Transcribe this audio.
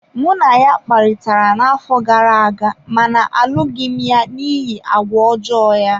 Mụ na ya kparịtara n’afọ gara aga ma alụghị m ya n’ihi àgwà ọjọọ ya.